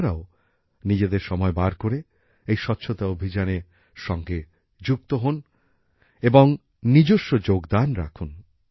আপনারাও নিজেদের সময় বার করে এই স্বচ্ছতা অভিযানে সঙ্গে যুক্ত হোন এবং অংশগ্রহণ করুন